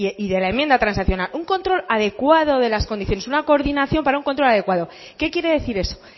y de la enmienda transaccional un control adecuado de las condiciones una coordinación para un control adecuado qué quiere decir eso